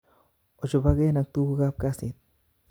Ochoboken ak tukuk kap kasit